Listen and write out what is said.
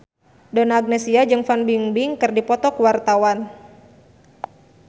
Donna Agnesia jeung Fan Bingbing keur dipoto ku wartawan